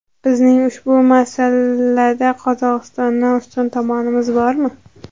Bizning ushbu masalada Qozog‘istondan ustun tomonimiz bormi?